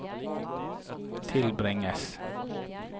tilbringes